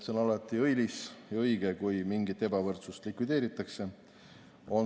See on alati õilis ja õige, kui mingit ebavõrdsust likvideeritakse.